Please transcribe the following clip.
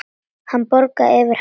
Hann bograði yfir henni.